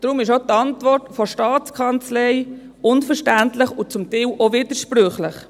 Deshalb ist auch die Antwort der Staatskanzlei unverständlich und zum Teil auch widersprüchlich.